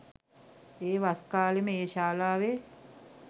ඒ වස්කාලේම ඒ ශාලාවේ